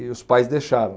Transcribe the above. E os pais deixavam.